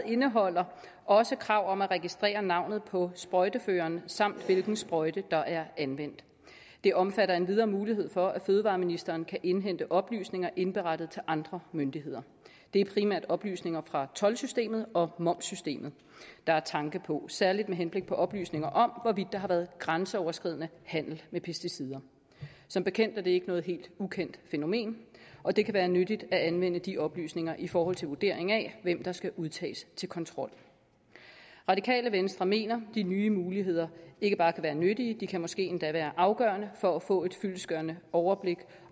indeholder også krav om at registrere navnet på sprøjteføreren samt hvilken sprøjte der er anvendt det omfatter endvidere mulighed for at fødevareministeren kan indhente oplysninger indberettet til andre myndigheder det er primært oplysninger fra toldsystemet og momssystemet man har tanke på særligt med henblik på oplysninger om hvorvidt der har været grænseoverskridende handel med pesticider som bekendt er det ikke noget helt ukendt fænomen og det kan være nyttigt at anvende de oplysninger i forhold til vurdering af hvem der skal udtages til kontrol radikale venstre mener at de nye muligheder ikke bare kan være nyttige de kan måske endda være afgørende for at få et fyldestgørende overblik